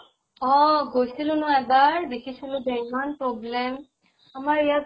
অহ । গৈছিলো ন এবাৰ, দেখিছিলো যে ইমান যে problem আমাৰ ইয়াত